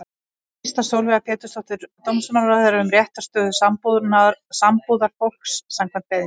Skýrsla Sólveigar Pétursdóttur dómsmálaráðherra um réttarstöðu sambúðarfólks, samkvæmt beiðni.